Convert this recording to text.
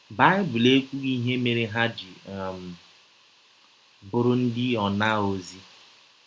Baịbụl ekwụghị ihe mere ha ji um bụrụ ndị ọnaọzi.